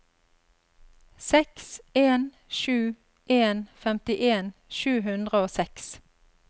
seks en sju en femtien sju hundre og seks